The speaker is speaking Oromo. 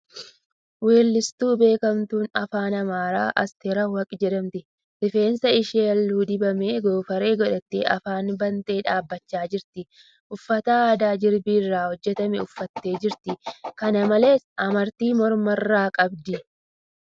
Weelistuu beekamtuu Afaan Amaaraa Asteer Awwaqaa jedhamti. Rifeensa ishee halluu dibame goofaree gootee afaan bantee dhaabachaa jirti. Uffata aadaa jirbii irraa hojjatame uffatte jirti .Kana malees , amartii morma irraa qabdi.